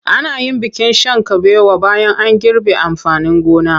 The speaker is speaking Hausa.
Ana yin bikin shan kabewa bayan an girbe amfanin gona.